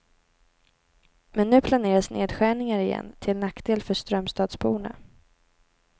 Men nu planeras nedskärningar igen, till nackdel för strömstadsborna.